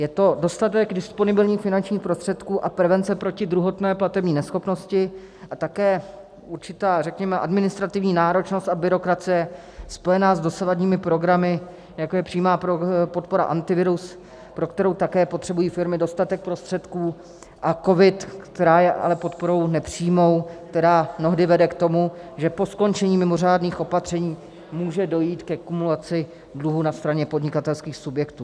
Je to dostatek disponibilních finančních prostředků a prevence proti druhotné platební neschopnosti a také určitá, řekněme, administrativní náročnost a byrokracie spojená s dosavadními programy, jako je přímá podpora Antivirus, pro kterou také potřebují firmy dostatek prostředků, a COVID, která je ale podporou nepřímou, která mnohdy vede k tomu, že po skončení mimořádných opatření může dojít ke kumulaci dluhu na straně podnikatelských subjektů.